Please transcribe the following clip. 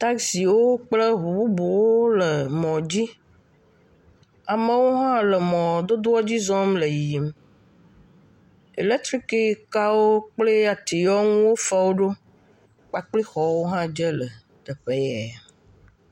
Taxiwo kple ɔu bubuwo le mɔ dzi. Amewo hã le mɔdodoa dzi le zɔzɔm. Eletriki ka wo kple atiawo ŋuwo wo fa woɖo kpakple xɔwo hã dze le teƒe ya.